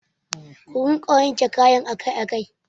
Ku rika wanke ninkayan nan akai akai